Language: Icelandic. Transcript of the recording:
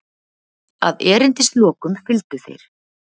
Að erindislokum fylgdu þeir